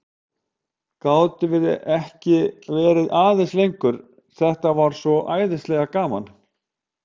Gátum við ekki verið aðeins lengur, þetta var svo æðislega gaman?